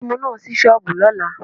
Ẹlẹ́mu á sí shọ́ọ̀bù lọ́la.